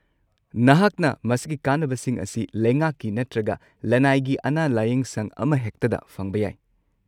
ꯅꯍꯥꯛꯅ ꯃꯁꯤꯒꯤ ꯀꯥꯟꯅꯕꯁꯤꯡ ꯑꯁꯤ ꯂꯩꯉꯥꯛꯀꯤ ꯅꯠꯇ꯭ꯔꯒ ꯂꯅꯥꯏꯒꯤ ꯑꯅꯥ-ꯂꯥꯌꯦꯡꯁꯪ ꯑꯃꯍꯦꯛꯇꯗ ꯐꯪꯕ ꯌꯥꯏ꯫